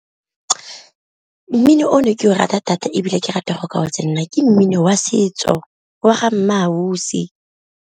Mmino o ne ke o rata thata ebile ke rata go ka go tsenela, ke mmino wa setso wa ga MmaAusi.